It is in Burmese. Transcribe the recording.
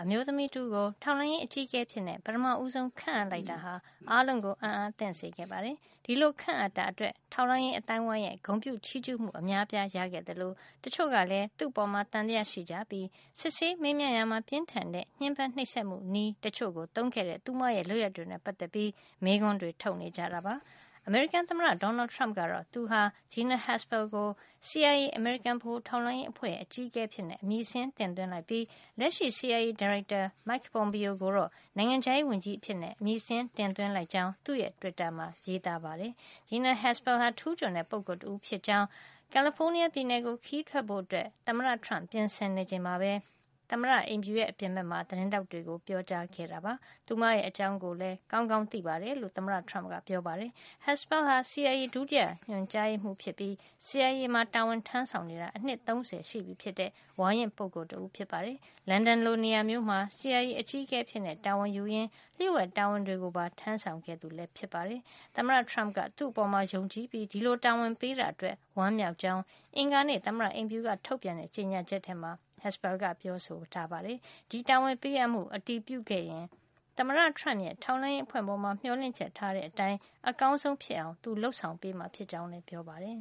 အမျိုးသမီးတဦးကို ထောက်လှမ်းရေး အကြီးအကဲအဖြစ် ပထမဦးဆုံး ခန့်အပ်လိုက်တာဟာ အားလုံးကို အံ့အားသင့်စေခဲ့ပါတယ်။ ဒီလိုခန့်အပ်တာအတွက် ထောက်လှမ်းရေး အသိုင်းအဝိုင်းရဲ့ ဂုဏ်ပြုချီးကြူးမှု အများအပြား ရခဲ့သလို တချို့ကလည်း သူ့အပေါ် သံသယရှိကြပြီး စစ်ဆေးမေးမြန်းရာမှာ ပြင်းထန်တဲ့ ညှင်းပမ်းနှိပ်စက်မှု နည်းတချို့သုံးခဲ့တဲ့ သူမရဲ့ လုပ်ရပ်တွေနဲ့ ပတ်သက်ပြီး မေးခွန်းတွေ ထုတ်နေကြတာပါ။ အမေရိကန်သမ္မတ Donald Trump ကတော့ သူဟာ Gina Haspel ကို CIA အမေရိကန် ဗဟိုထောက်လှမ်းရေး အဖွဲ့ရဲ့ အကြီးအကဲအဖြစ်အမည်စာရင်းတင်သွင်းလိုက်ပြီး လက်ရှိ CIA ဒါရိုက်တာ Mike Pompeo ကိုတော့ နိုင်ငံခြားရေးဝန်ကြီးအဖြစ် အမည်တင်သွင်းလိုက်ကြောင်း သူ့တွစ်တာမှာ ရေးပါတယ်။ Gina Haspel ဟာ ထူူးချွန်တဲ့ ပုဂ္ဂိုလ်တဦးဖြစ်ကြောင်း ကယ်လီဖိုးနီးယားပြည်နယ်ကို ခရီးထွက်ဖို့ ပြင်ဆင်နေချိန်မှာပဲ သမ္မတအိမ်ဖြူ အပြင်ဖက်မှာ သတင်းထောက်တွေကို ပြောပါတယ်။ သူမအကြောင်းကိုလည်း ကောင်းကောင်း သိတယ်လို့ ဆိုပါတယ်။ Haspel ဟာ CIA ဒုတိယညွှန်မှုးဖြစ်ပြီး CIA မှာတာဝန်ထမ်းဆောင်နေတာ အနှစ် ၃၀ ရှိတဲ့ ဝါရင့်တဲ့ပုဂ္ဂိုလ် တဦးပါ။ လန်ဒန်လိုနေရာမျိုးမှာ CIA အကြီးအကဲအဖြစ်တာဝန်ယူရင်း လျှို့ဝှက်တာဝန်တွေကိုပါ ထမ်းဆောင်ခဲ့သူ ဖြစ်ပါတယ်။ သမ္မတ Trump က သူ့အပေါ်ယုံကြည်ပြီး ဒီလိုတာဝန်ပေးတာအတွက် ဝမ်းမြောက်ကြောင်း အင်္ဂါနေ့ သမ္မတအိမ်ဖြူက ထုတ်ပြန်တဲ့ ကြေညာချက်မှာ Haspel က ပြောပါတယ်။ ဒီတာဝန်ပေးအပ်မှု အတည်ပြုခဲ့ရင် သမ္မတ Trump ရဲ့ ထောက်လှန်းရေးအဖွဲ့ပေါ် မျှော်လင့်ချက်ထားတဲ့ အတိုင်း အကောင်းဆုံး ဖြစ်အောင် သူလုပ်ဆောင်မှာ ဖြစ်ကြောင်းလည်း ပြောပါတယ်